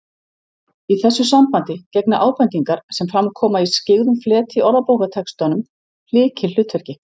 Í þessu sambandi gegna ábendingar, sem fram koma í skyggðum fleti í orðabókartextanum, lykilhlutverki